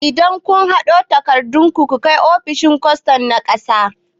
Idan kun haɗo takardun ku, ku kai ofishin kwastom na ƙasa